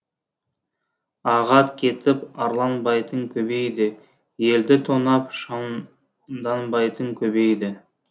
ағат кетіп арланбайтын көбейді елді тонап шамданбайтын көбейді